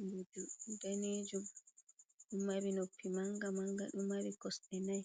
Mboju danejum mari noppi manga-manga. Ɗo mari kosde nai,